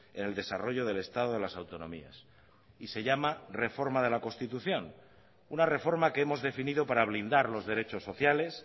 en el desarrollo del estado de las autonomías y se llama reforma de la constitución una reforma que hemos definido para blindar los derechos sociales